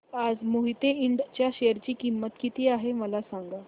आज मोहिते इंड च्या शेअर ची किंमत किती आहे मला सांगा